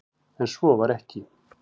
En svo var ekki.